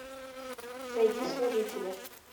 найди служители